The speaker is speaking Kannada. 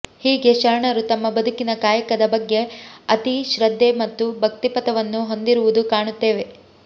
ಹೀಗೆ ಶರಣರು ತಮ್ಮ ಬದುಕಿನ ಕಾಯಕದ ಬಗೆ ಅತಿ ಶ್ರದ್ದೇ ಮತ್ತು ಭಕ್ತಿಪಥವನ್ನು ಹೊಂದಿರುವುದು ಕಾಣುತ್ತೇವೆ